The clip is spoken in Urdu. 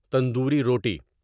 تندوری روٹی